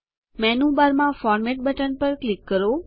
મેનુબારમાં format button પર click કરો